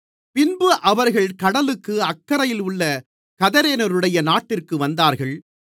பின்பு அவர்கள் கடலுக்கு அக்கரையில் உள்ள கதரேனருடைய நாட்டிற்கு வந்தார்கள்